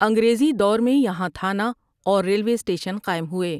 انگریزی دور میں یہاں تھانہ اور ریلوے سٹیشن قائم ہوئے ۔